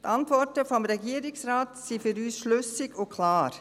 Die Antworten des Regierungsrates sind für uns schlüssig und klar.